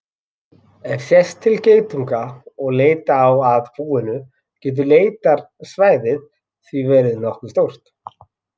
Ef sést til geitunga og leita á að búinu getur leitarsvæðið því verið nokkuð stórt.